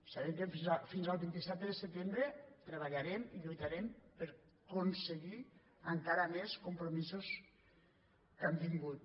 sabem que fins al vint set de setembre tre·ballarem i lluitarem per aconseguir encara més com·promisos que hem tingut